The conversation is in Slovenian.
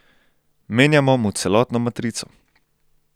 Menjamo mu celotno matrico.